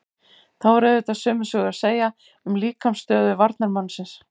Þá er auðvitað sömu sögu að segja um líkamsstöðu varnarmannsins.